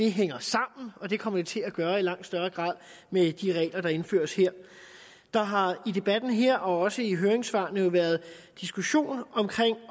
hænger sammen det kommer det til at gøre i langt højere grad med de regler der indføres her der har i debatten her og også i forhold til høringssvarene været diskussionen